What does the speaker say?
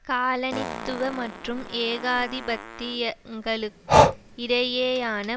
காலனித்துவ மற்றும் ஏகாதிபத்தியங்களுக்கு இடையேயான